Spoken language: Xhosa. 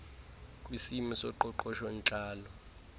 kisimo soqoqosho ntlalo